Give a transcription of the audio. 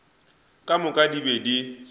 ka moka di be di